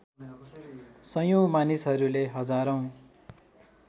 सयौँ मानिसहरूले हजारौँ